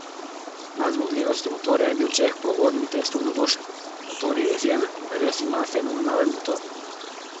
Nad zmogljivostjo motorja je bil Čeh po uvodnem testu navdušen: "Motor je izjemen, res imam fenomenalen motor.